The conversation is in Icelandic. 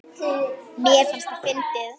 Mér fannst það fyndið.